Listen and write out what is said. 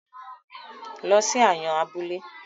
Lọ sí Ayọ̀n abúlé!